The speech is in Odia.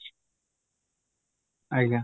ଆଜ୍ଞା